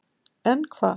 En hvað